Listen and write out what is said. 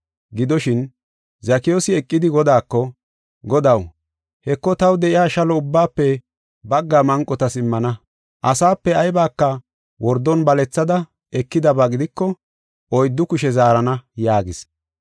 Gidoshin, Zakiyoosi eqidi Godaako, “Godaw, Heko taw de7iya shalo ubbaafe baggaa manqotas immana. Asape aybaka wordon balethada ekidaba gidiko oyddu kushe zaarana” yaagis.